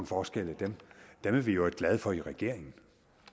forskelle er vi jo glade for i regeringen